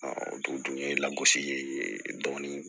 o don ye lagosi ye dɔɔnin